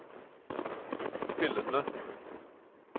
spillende